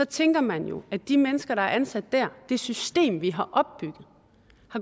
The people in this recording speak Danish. tænker man jo at de mennesker der er ansat der det system vi har opbygget